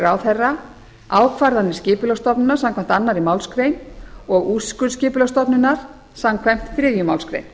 ráðherra ákvarðanir skipulagsstofnunar samkvæmt annarri málsgrein og úrskurð skipulagsstofnunar samkvæmt þriðju málsgrein